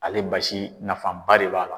Ale basi nafa ba de b'a la.